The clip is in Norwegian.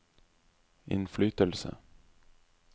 innflytelse